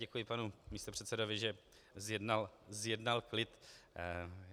Děkuji panu místopředsedovi, že zjednal klid.